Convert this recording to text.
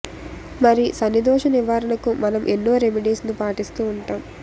మరి శనిదోష నివారణకు మనం ఎన్నో రెమిడీస్ ను పాటిస్తూ వుంటాం